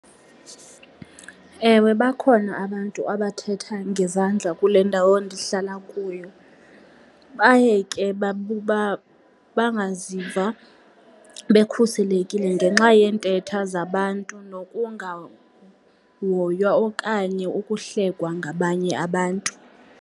Ewe, bakhona abantu abathetha ngezandla kule ndawo ndihlala kuyo. Baye ke bangaziva bekhuselekile ngenxa yeentetho zabantu nokungahoywa okanye ukuhlekwa ngabanye abantu.